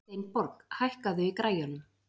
Steinborg, hækkaðu í græjunum.